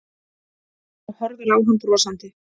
Hún horfir á hann brosandi.